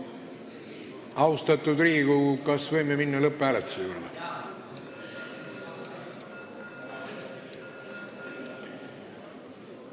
Austatud Riigikogu, kas võime minna lõpphääletuse juurde?